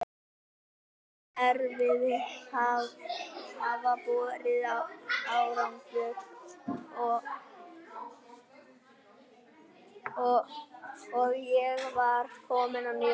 Allt mitt erfiði hafði borið árangur og ég var komin á nýja braut.